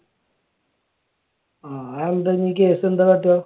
ആഹ് അതെന്താണ്? case എന്താണ് ?